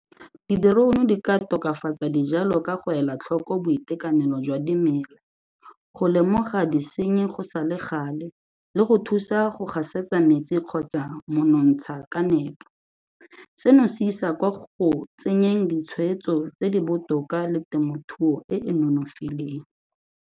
Di-drone di ka tokafatsa dijalo ka go ela tlhoko boitekanelo jwa dimela, go lemoga disenyi go sa le gale, le go thusa gasetsa metsi kgotsa monontsha ka nepo. Seno se isa kwa go tsenyeng ditshwetso tse di botoka le temothuo e e nonofileng.